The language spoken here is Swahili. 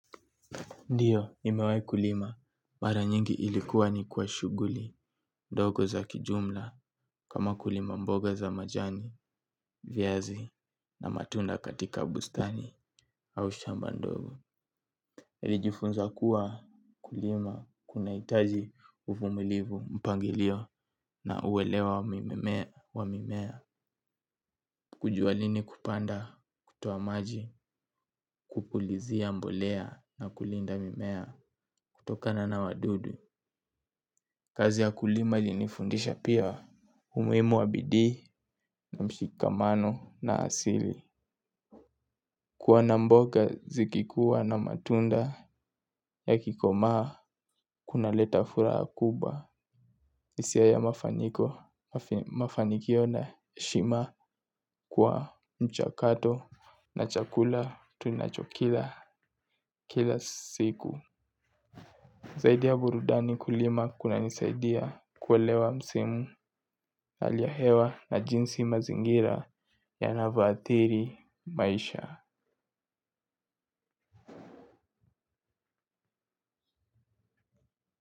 Ndiyo, nimewahi kulima. Mara nyingi ilikuwa ni kwa shuguli, ndogo za kijumla, kama kulima mboga za majani, viazi, na matunda katika bustani, au shamba ndogo. Nilijifunza kuwa kulima, kunahitaji uvumilivu, mpangilio, na uwelewa wa mimea, wa mimea. Kujua lini kupanda, kutoa maji, kupulizia mbolea, na kulinda mimea, kutokana na wadudu. Kazi ya kulima ilinifundisha pia umuhimu wa bidii na mshikamano na asili. Kuona mboga zikikuwa na matunda yakikomaa kunaleta furaha kubwa hIsia ya mafaniko mafanikio na heshima kwa mchakato na chakula tunachokila kila siku. Zaidi ya burudani kulima kunanisaidia kuelewa msimu hali ya hewa na jinsi mazingira yanavyoathiri maisha.